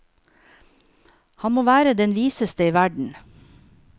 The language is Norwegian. Han må være den viseste i verden.